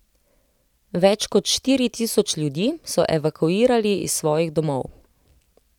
Več kot štiri tisoč ljudi so evakuirali iz svojih domov.